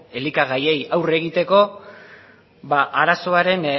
elikagaiei aurre egiteko arazoaren